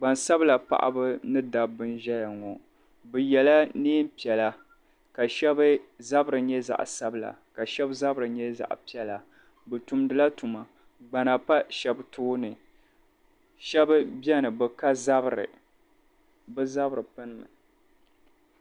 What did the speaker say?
Gbansabla paɣaba ni dabba n ʒɛya ŋɔ bɛ yela niɛn'piɛla ka sheba zabri nyɛ zaɣa sabila ka sheba zabri nyɛ zaɣa piɛla bɛ tumdi la tuma gbana pa sheba tooni sheba biɛni bɛ ka zabri bɛ zabri.